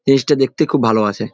জিনিসটা দেখতে খুব ভালো আছে।